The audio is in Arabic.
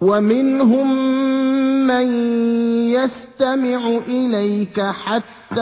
وَمِنْهُم مَّن يَسْتَمِعُ إِلَيْكَ حَتَّىٰ